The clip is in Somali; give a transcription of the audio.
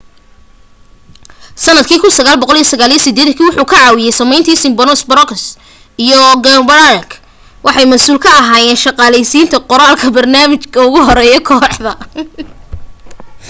sanadka 1989 wuxuu ka caawiyey sameynta simpsons brooks iyo groening waxay masuul ka ahaayeen shaqaleysiinta qoraha barnaamijka ugu horeya kooxda